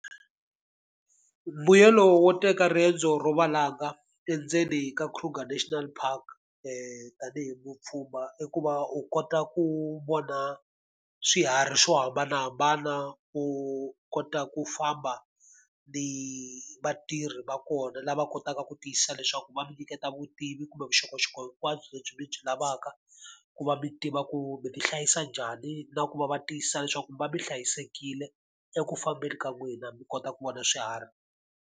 Mbuyelo wo teka riendzo ro valanga endzeni ka Kruger National Park tanihi mupfumba i ku va u kota ku vona swiharhi swo hambanahambana, u kota ku famba ni vatirhi va kona lava kotaka ku tiyisisa leswaku va mi nyiketa vutivi kumbe vuxokoxoko hinkwabyo lebyi mi byi lavaka, ku va mi tiva ku mi ti hlayisa njhani na ku va va tiyisisa leswaku mi va mi hlayisekile eku fambeni ka n'wina mi kota ku vona swiharhi.